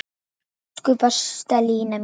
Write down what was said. Elsku besta Lína mín.